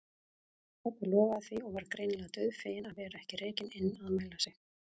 Pabbi lofaði því og var greinilega dauðfeginn að vera ekki rekinn inn að mæla sig.